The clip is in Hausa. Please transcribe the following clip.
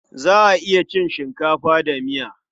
Za a iya cin shinkafa da miya.